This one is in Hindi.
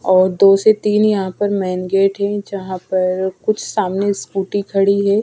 और दो से तीन यहाँ पर मैन गेट है जहा पर कुछ सामने स्कूटी खड़ी है.